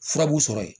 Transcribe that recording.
Furabulu sɔrɔ ye